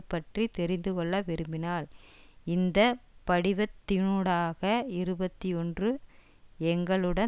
பற்றி தெரிந்துகொள்ள விரும்பினால் இந்த படிவத்தினூடாக இருபத்தி ஒன்று எங்களுடன்